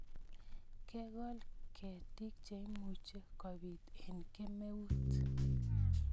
ke gol ketik cheimuci kobit eng' kemeut